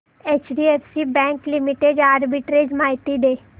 HDFC bank limited arbitrage माहिती दे